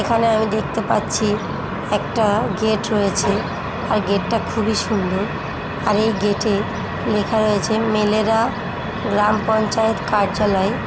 এখানে আমি দেখতে পাচ্ছি একটা গেট হয়েছে আর গেট টা খুবই সুন্দর আর এই গেট এ লেখা রয়েছে মেলেরা গ্রাম পঞ্চায়েত কার্যালয়।